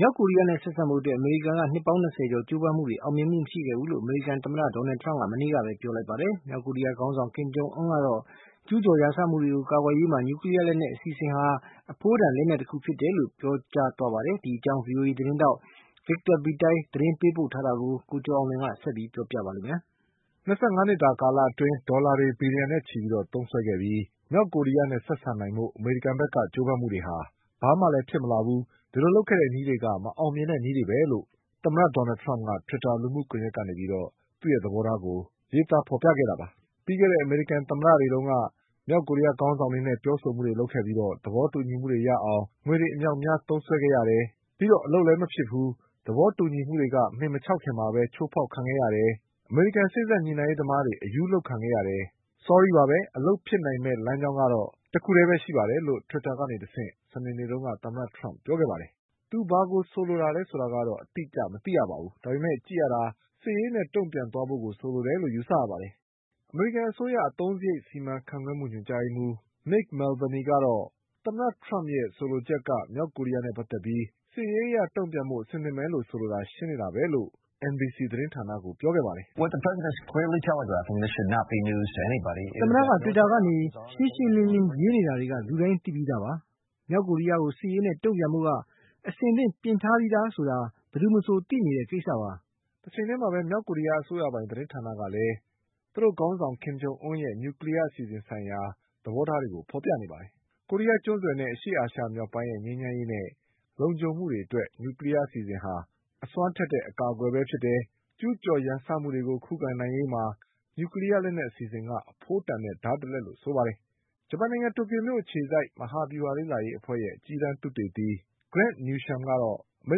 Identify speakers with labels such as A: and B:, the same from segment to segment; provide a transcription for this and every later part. A: မြောက်ကိုရီးယားနဲ့ဆက်ဆံဖို့ အမေရိကန်ရဲ့နှစ်ပေါင်း၂၀ကျော်ကြိုးပမ်းမှုတွေဟာ အောင်မြင်မှုမရှိခဲ့ဘူးလို့ အမေရိကန်သမ္မတ Donald Trump က မနေ့ကပဲပြောလိုက်ပါတယ်။ မြောက်ကိုရီးယားခေါင်းဆောင် ကင်ဂျုံအွန်းကတော့ ကျူးကျော်ရန်စမှုတွေကို ကာကွယ်ရေးမှာ နျူကလီးယားလက်နက် အစီအစဉ်က အဖိုးတန်လက်နက်တခုပဲလို့ ပြော နေပါတယ်။ ဒီအကြောင်း ဗွီအိုအေသတင်းထောက် Victor Beattie သတင်းပေးပို့ထားတာကို ကိုကျော်အောင်လွင်က ဆက်ပြီးပြောပြပါလိမ့်မယ်။ ၂၅နှစ်တာကာလအ
B: တွင်း ဒေါ်လာတွေဘီလီယံနဲ့ချီသုံးစွဲခဲ့ပြီး မြောက်ကိုရီးယားနဲ့ဆက်ဆံနိုင်ဖို့အမေရိကန်ဘက်က ကြိုး ပမ်းမှုတွေက ဘာမှလည်းဖြစ်မလာဘူး၊ ဒီလိုလုပ်ခဲ့တဲ့နည်းတွေက မအောင်မြင်တဲ့နည်းတွေပဲလို့ သမ္မတဒေါ်နလ်ထရမ့် က တွစ်တာလူမှုကွန်ယက်ကနေ သူ့သဘောထားကို ရေးသားဖေါ်ပြခဲ့တာပါ။ "ပြီးခဲ့တဲ့အမေရိကန်သမ္မတ တွေ က မြောက်ကိုရီးယားခေါင်းဆောင်တွေနဲ့ပြောဆိုမှုတွေလုပ်ခဲ့ပြီး သဘောတူညီမှုတွေရအောင် ငွေတွေအမြောက် အများ သုံးစွဲခဲ့ရတယ်။ ပြီးတော့အလုပ်လည်းမဖြစ်ဘူး။ သဘောတူညီမှုတွေက မှင်မခြောက်ခင်မှာပဲ ချိုးဖေါက်ခံခဲ့ရတယ်။ အမေရိကန်စေ့စပ်ညှိနှိုင်းရေးသမားတွေ အရူးလုပ်ခံခဲ့ရတယ်။ ဆောရီးပါပဲ။ အလုပ်ဖြစ်နိုင်မယ့် လမ်းကြောင်းကတော့ တခုထဲပဲရှိ တယ်"လို့ တွစ်တာကနေတဆင့် စနေနေ့တုန်းက သမ္မတထရမ့်ပြောခဲ့ပါတယ်။ သူဘာကိုဆိုလိုသလဲ ဆိုတာကတော့ အတိအကျမသိရပါဘူး။ ဒါပေမဲ့ကြည့်ရတာ စစ်ရေးနဲ့တုံ့ပြန်ဖို့ဆိုလိုတယ်လို့ယူဆရပါတယ်။ အမေရိကန် အစိုးရ အသုံးစရိတ် စီမံခန့်ခွဲမှု ညွှန်ကြားရေးမှုး Mick Mulvaney ကတော့ သမ္မတထရမ့်ရဲ့ဆိုလိုချက်က မြောက်ကိုရီး ယားနဲ့ပတ်သက်ပြီး စစ်ရေးအရလုပ်ဆောင်ဖို့ အဆင်သင့်ပဲလို့ဆိုလိုတာ ရှင်းနေတာပဲလို့ NBC သတင်းဌာနကို ပြောခဲ့ပါတယ်။ "သမ္မတက တွစ
A: ်တာကနေ ရှင်းရှင်းလင်းလင်းရေးနေတာတွေက လူတိုင်းသိပြီးသားပါ။ မြောက်ကိုရီးယားကို စစ်ရေးနဲ့ တုံ့ပြန်ဖို့က အဆင်သင့်ပြင်ထားပြီးသာဆိုတာ ဘယ်သူမဆိုသိနေတဲ့ကိစ္စပါ။
B: " တချိန်ထဲမှာပဲ မြောက်ကိုရီးယားအစိုးရပိုင်သတင်းဌာနကလည်း သူတို့ခေါင်းဆောင် ကင်ဂျုံအွန်းရဲ့ နျူကလီးယား အစီအစဉ်ဆိုင်ရာ သဘောထားတွေကိုဖေါ်ပြနေပါတယ်။ ကိုရီးယားကျွန်းဆွယ်နဲ့အာရှအရှေ့မြောက်ပိုင်းရဲ့ ငြိမ်းချမ်း ရေးနဲ့လုံခြုံမှုအတွက် နျူကလီးယားအစီအစဉ်ဟာ အစွမ်းထက်တဲ့အကာအကွယ်ပဲ၊ ကျူးကျော်ရန်စမှုတွေကို ခုခံနိုင်ရေးမှာ နျူကလီးယားလက်နက်အစီအစဉ်က အဖိုးတန်တဲ့ဓါးတလက်လို့ဆိုပါတယ်။ ဂျပန်နိုင်ငံတိုကျိုမြို့အခြေ စိုက် မဟာဗျူဟာလေ့လာရေးအဖွဲ့ရဲ့ အကြီးတန်းသုတေသီ Grant Newsham ကတော့ အမေ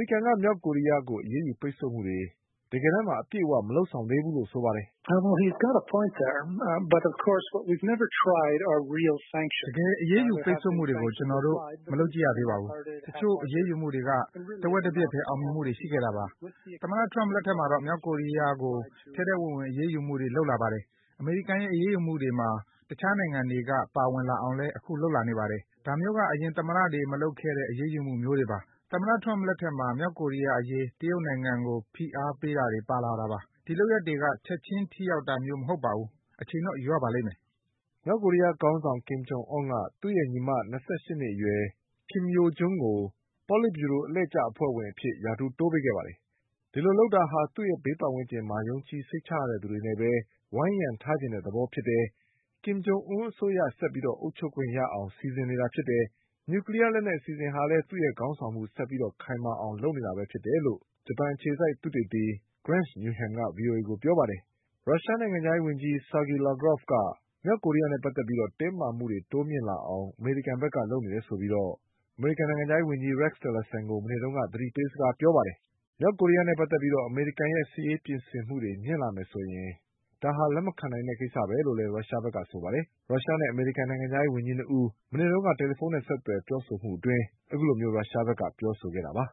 B: ရိကန်က မြောက်ကိုရီး ယားကိုအရေးယူပိတ်ဆို့မှုတွေ အပြည့်အ၀ မလုပ်ဆောင်သေးဘူးလို့ဆိုပါတယ
C: ်။ "တကယ့်အရေးယူပိတ်ဆို့မှုတွေကို ကျနော်တို့ မလုပ်ကြည့်ရသေးပါဘူး။ တချို့အရေးယူမှုတွေက တဝက်တပျက်ပဲ အောင်မြင်မှုတွေရှိခဲ့တာပါ။ သမ္မတထရမ့်လက်ထက်မှာတော့ မြောက်ကိုရီးယားကို ထဲထဲဝင်ဝင်အရေးယူမှုတွေလုပ် လာပါတယ်။ အမေရိကန်ရဲ့အရေးယူမှုတွေမှာ တခြားနိုင်ငံတွေကပါဝင်လာအောင်လည်းအခုလုပ်လာနေပါတယ်။ ဒါမျိုး က အရင်သမ္မတတွေမလုပ်ခဲ့တဲ့ အရေးယူမှုမျိုးတွေပါ။ သမ္မတထရမ့်လက်ထက်မှာ မြောက်ကိုရီးယားအရေး တရုတ်နိုင် ငံကိုပါဖိအားတွေပေးလာတာပါ။ ဒီလုပ်ရပ်တွေက ချက်ချင်းထိရောက်တာမျိုးမဟုတ်ပါဘူး။ အချိန်တော့ယူရပါလိမ့်မယ်။" မြောက်ကိုရီးယားခေါင်းဆောင် ကင်ဂျုံအွန်းက
B: သူ့ရဲ့ညီမ၂၈နှစ်အရွယ် Kim Yo-Jongကို ပေါလစ်ဗျူရို အလှည့်ကျ အဖွဲ့ဝင်အဖြစ်ရာထူးတိုးပေးခဲ့ပါတယ်။ ဒီလိုလုပ်တာဟာ သူ့ဘေးပတ်ဝန်းကျင်မှာ ယုံကြည်စိတ်ချရတဲ့သူတွေနဲ့ပဲ ဝိုင်းရံ ထားချင်တဲ့သဘောဖြစ်တယ်၊ကင်ဂျုံအွန်းရဲ့အစိုးရဆက်ပြီးအုပ်ချုပ်ခွင့်ရအောင်စီစဉ်နေတာဖြစ်တယ်၊ နျူကလီးယား လက်နက်အစီအစဉ်ဟာလည်း သူ့ခေါင်းဆောင်မှုဆက်ပြီးခိုင်မာအောင်လုပ်နေတာပဲဖြစ်တယ်လို့ သုတေသီ Grant Newshamက ဗွီအိုအေကိုပြောပါတယ်။ ရုရှားနိုင်ငံခြားရေးဝန်ကြီး Sergei Lavrov က မြောက်ကိုရီးယားနဲ့ပတ်သက်ပြီးတင်းမာမှုတွေတိုးမြင့်လာအောင် အမေရိကန်က လုပ်နေတယ်ဆိုပြီး အမေရိကန်နိုင်ငံခြားရေးဝန်ကြီး Rex Tillersonကို မနေ့တုန်းက သတိပေးစကား ပြောခဲ့ပါတယ်။ မြောက်ကိုရီးယားနဲ့ပတ်သက်ပြီး အမေရိကန်ရဲ့စစ်ရေးပြင်ဆင်မှုတွေမြင့်တက်လာမယ်ဆိုရင် ဒါဟာ လက်မခံနိုင်တဲ့ကိစ္စပဲလို့လည်း ရုရှားဘက်ကပြောပါတယ်။ ရုရှားနဲ့အမေရိကန်နိုင်ငံခြားရေးဝန်ကြီး၂ဦး မနေ့က တယ်လီ ဖုန်းနဲ့ဆက်သွယ်ပြောဆိုမှုအတွင်း ရုရှားဘက်ကအခုလိုပြောဆိုခဲ့တာပါ။